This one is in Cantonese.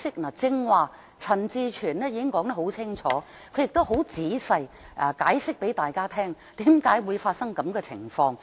陳志全議員剛才已經說得很清楚，亦很仔細地向大家解釋為何會發生這樣的情況。